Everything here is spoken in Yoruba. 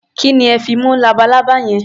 Kí ni ẹ fi mú labalábá yẹn?